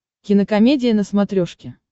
кинокомедия на смотрешке